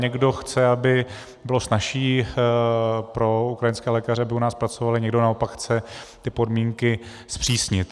Někdo chce, aby bylo snazší pro ukrajinské lékaře, aby u nás pracovali, někdo naopak chce ty podmínky zpřísnit.